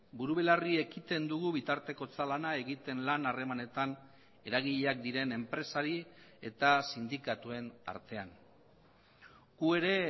buru belarri ekiten dugu bitartekotza lana egiten lan harremanetan eragileak diren enpresari eta sindikatuen artean gu ere